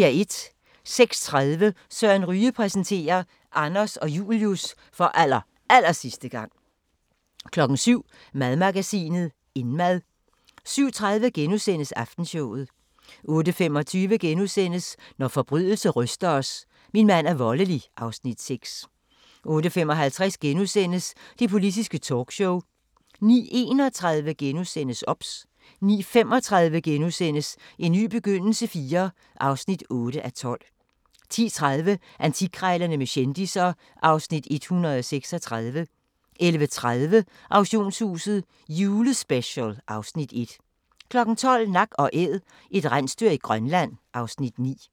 06:30: Søren Ryge præsenterer: Anders og Julius for allerallersidste gang 07:00: Madmagasinet – Indmad 07:30: Aftenshowet * 08:25: Når forbrydelse ryster os: Min mand er voldelig (Afs. 6)* 08:55: Det Politiske Talkshow * 09:31: OBS * 09:35: En ny begyndelse IV (8:12)* 10:30: Antikkrejlerne med kendisser (Afs. 136) 11:30: Auktionshuset – Julespecial (Afs. 1) 12:00: Nak & Æd – et rensdyr i Grønland (Afs. 9)